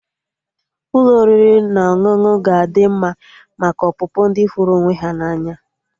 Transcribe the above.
Ụlọ oriri na ọṅụṅụ ga adị mma maka ọpụpụ ndi hụrụ onwe ha na anya